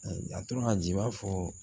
A tora ji b'a fɔ